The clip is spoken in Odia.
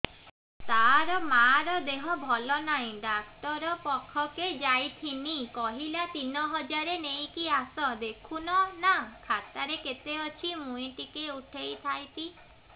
ତାର ମାର ଦେହେ ଭଲ ନାଇଁ ଡାକ୍ତର ପଖକେ ଯାଈଥିନି କହିଲା ତିନ ହଜାର ନେଇକି ଆସ ଦେଖୁନ ନା ଖାତାରେ କେତେ ଅଛି ମୁଇଁ ଟିକେ ଉଠେଇ ଥାଇତି